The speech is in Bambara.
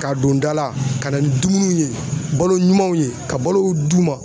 Ka don da la ka na ni dumunuw ye balo ɲumanw ye ka balow d'u ma